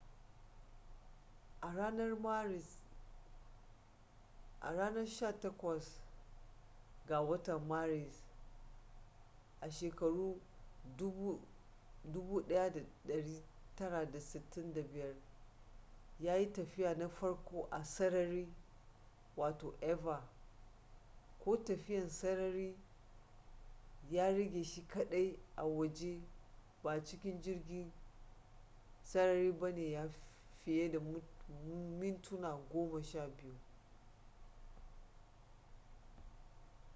a ranar maris 18 1965 ya yi tafiya na farko a sarari eva ko tafiyan sarari” ya rage shi kadai a waje ba a cikin jirgin sarari ba na fiye da mintuna goma sha biyu